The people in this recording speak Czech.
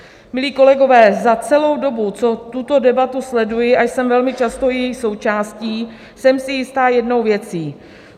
Milí kolegové, za celou dobu, co tuto debatu sleduji a jsem velmi často její součásti, jsem si jista jednou věcí.